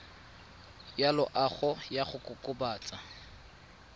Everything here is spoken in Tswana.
ya loago ya go kokobatsa